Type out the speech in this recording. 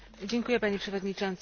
Panie Przewodniczący!